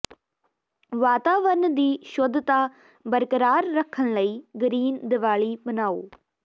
ਵਾਤਾਵਰਨ ਦੀ ਸ਼ੁੱਧਤਾ ਬਰਕਰਾਰ ਰੱਖਣ ਲਈ ਗਰੀਨ ਦੀਵਾਲੀ ਮਨਾਓ